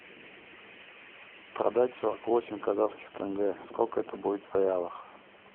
продать сорок восемь казахских тенге сколько это будет в реалах